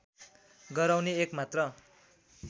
गराउने एक मात्र